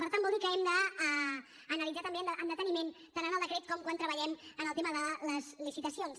per tant vol dir que l’hem d’analitzar també amb deteniment tant en el decret com quan treballem en el tema de les licitacions